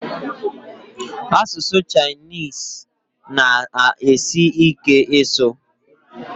Asụsụ Chinese na asi ike ịsụ